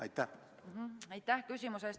Aitäh küsimuse eest!